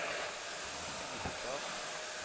Ibestad